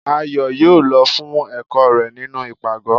Ayo yóò lọ fún ẹkọ rẹ nínú ipágọ